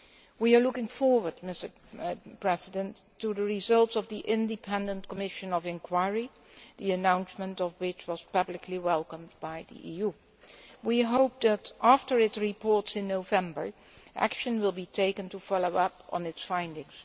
We are looking forward to the results of the Independent Commission of Inquiry, the announcement of which was publicly welcomed by the EU. We hope that, after it reports in November, action will be taken to follow up on its findings.